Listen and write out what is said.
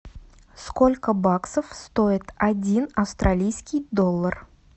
сколько баксов стоит один австралийский доллар